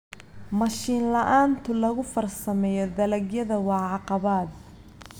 Mashiin la'aanta lagu farsameeyo dalagyada waa caqabad.